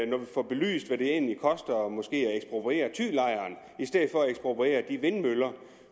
når vi får belyst hvad det egentlig koster måske at ekspropriere thylejren i stedet for at ekspropriere de vindmøller